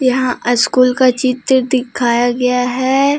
यहां स्कूल का चित्र दिखाया गया है।